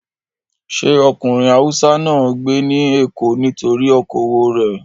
Sé ọkùnrin Haúsá náà ń gbé ní Èkó nítorí okòwò rẹ̀?